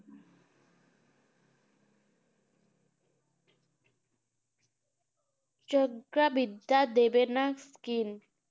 জজ্ঞা বিদ্যা দেবেনা কি